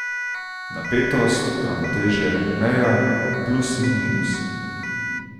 Napetost, ravnotežje, meja, plus in minus.